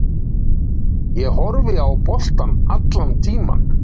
Ég horfi á boltann allan tímann.